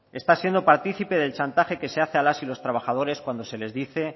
está siendo partícipe del chantaje que se hace a las y los trabajadores cuando se les dice